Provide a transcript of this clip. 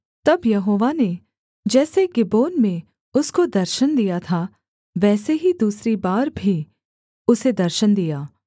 तब यहोवा ने जैसे गिबोन में उसको दर्शन दिया था वैसे ही दूसरी बार भी उसे दर्शन दिया